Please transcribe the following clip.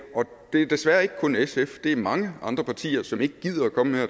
det er desværre ikke kun sf det er mange andre partier som ikke gider at komme her